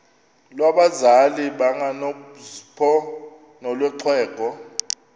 lwabazali bakanozpho nolwexhego